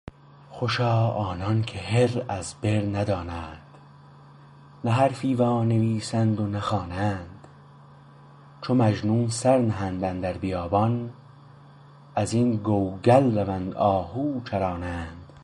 خوشا آنانکه هر از بر ندانند نه حرفی وانویسند و نه خوانند چو مجنون سر نهند اندر بیابان ازین کوها رون آهو چرانند